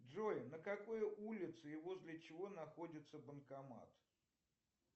джой на какой улице и возле чего находится банкомат